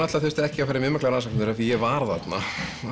þurfti ekki að fara í mikla rannsóknavinnu af því ég var þarna